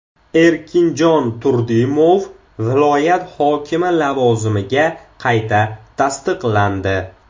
Erkinjon Turdimov viloyati hokimi lavozimiga qayta tasdiqlandi.